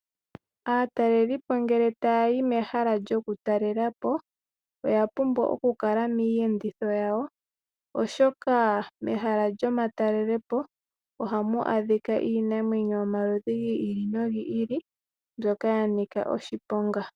Aatalelipo ngele taya yi mehala lyo kutalelapo oya pumbwa oku kala miiyenditho yawo, oshoka mehala lyo matalelopo ohamu adhika iinamwenyo yomaludhi gi ili nogi ili, mbyoka ya nika oshiponga.